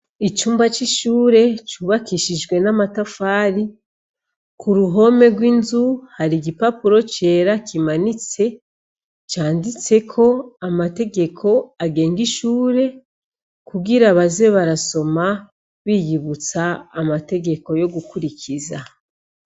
Icumba c'ishure, cubakishijwe n'amatafari, k'uruhome rw'inzu, hari igipapuro cera kimanitse, canditseko amategeko agenga ishure kugira baze barasoma, biyibutsa amategeko yo gukurikiza.